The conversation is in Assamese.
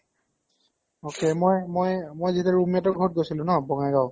okay মই মই মই যেতিয়া roommate ৰ ঘৰত গৈছিলো ন বংগাইগাঁৱওঁ